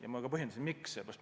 Ja ma ka põhjendasin, miks.